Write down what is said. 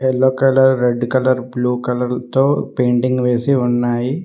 Yellow colour red colour blue colour తో painting వేసి ఉన్నాయి.